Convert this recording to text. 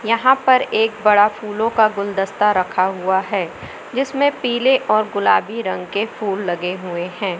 यहां पर एक बड़ा फूलों का गुलदस्ता रखा हुआ है जिसमें पीले और गुलाबी रंग के फूल लगे हुए हैं।